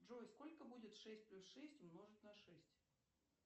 джой сколько будет шесть плюс шесть умножить на шесть